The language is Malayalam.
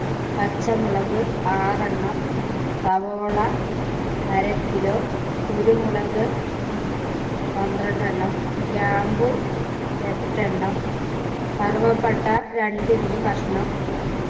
പച്ചമുളക് ആറെണ്ണം സവാള അര kilo കുരുമുളക് പന്ത്രണ്ട് എണ്ണം ഗ്രാമ്പു എട്ടെണ്ണം കറുവപ്പട്ട രണ്ട് inch കഷ്ണം